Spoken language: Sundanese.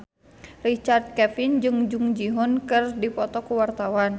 Richard Kevin jeung Jung Ji Hoon keur dipoto ku wartawan